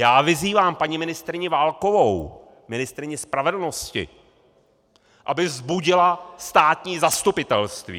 Já vyzývám paní ministryni Válkovou, ministryni spravedlnosti, aby vzbudila státní zastupitelství.